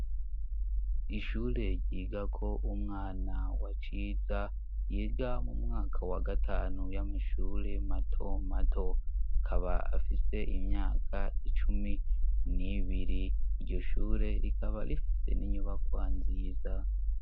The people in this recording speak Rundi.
Ishure ryigako umwana wa ciza, yiga mu mwaka wa gatanu w'amashure mato mato, akaba afise imyaka icumi n'ibiri, iryo shure rikaba rifise n'inyubakwa nziza.